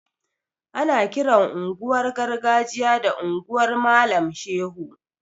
Ana kiran unguwar gargajiya da unguwar malam shehu